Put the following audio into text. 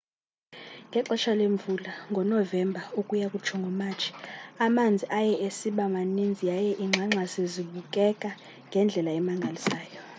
ngexesha lemvula ngonovemba ukuya kutsho ngomatshi amanzi aye esiba maninzi yaye iingxangxasi zibukeka ngendlela emangalisayo